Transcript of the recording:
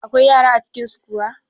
Akwai yara a cikin su kuwa?